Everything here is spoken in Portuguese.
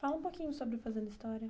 Fala um pouquinho sobre o Fazendo História.